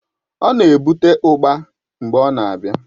Ọ na-ebute ugba mgbe ọ na-abịa